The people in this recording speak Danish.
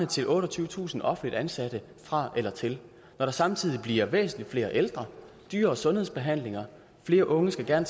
til otteogtyvetusind offentligt ansatte fra eller til når der samtidig bliver væsentlig flere ældre dyrere sundhedsbehandlinger og flere unge der gerne